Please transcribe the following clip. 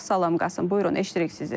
Salam Qasım, buyurun eşidirik sizi.